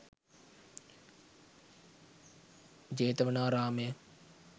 jethawanaramaya